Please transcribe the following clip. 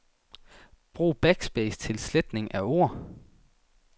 Brug backspace til sletning af ord.